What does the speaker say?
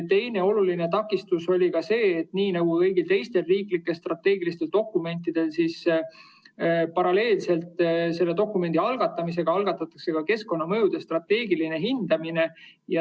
Teine oluline takistus oli see, et nii nagu ka kõigi teiste riiklike strateegiliste dokumentide puhul, algatati paralleelselt dokumendi algatamisega keskkonnamõjude strateegiline hindamine.